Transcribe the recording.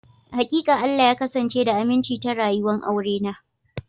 Hakika, Allah ya kasance da aminci ta rayuwa'n aure na.